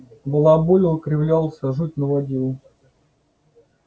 балаболил кривлялся жуть наводил